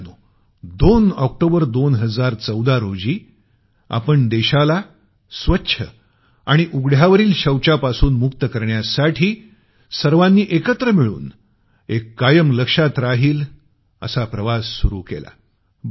मित्रांनो 2 ऑक्टोबर 2014 रोजी आपण देशाला स्वच्छ आणि उघड्यावरील शौचापासून मुक्त करण्यासाठी सर्वांनी एकत्र मिळून एक कायम लक्षात राहील असा प्रवास सुरु केला